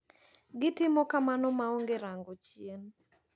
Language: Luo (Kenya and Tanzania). Gitimo kamano maonge rango chien.